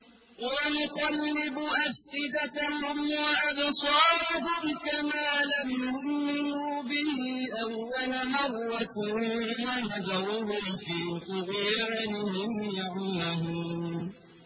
وَنُقَلِّبُ أَفْئِدَتَهُمْ وَأَبْصَارَهُمْ كَمَا لَمْ يُؤْمِنُوا بِهِ أَوَّلَ مَرَّةٍ وَنَذَرُهُمْ فِي طُغْيَانِهِمْ يَعْمَهُونَ